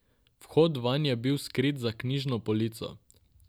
Vhod vanj je bil skrit za knjižno polico.